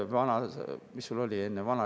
Mis sul oli enne?